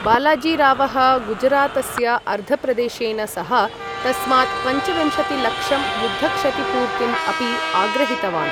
बालाजीरावः गुजरातस्य अर्धप्रदेशेन सह, तस्मात् पञ्चविंशतिलक्षं युद्धक्षतिपूर्तिम् अपि आग्रहितवान्।